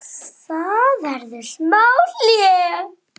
Það verður smá hlé.